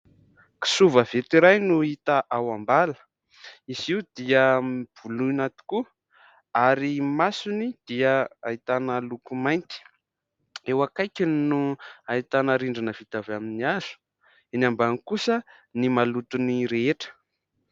Kisoa vaventy iray no hita ao ambala. Izy io dia voloina tokoa ary ny masony dia ahitana loko mainty. Eo akaikiny no ahitana rindrina vita avy amin'ny hazo, eo ambany kosa ny malotony rehetra.